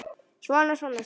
Svona, svona, sagði pabbi.